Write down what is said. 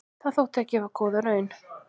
Það þótti gefa góða raun.